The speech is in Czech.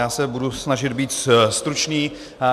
Já se budu snažit být stručný.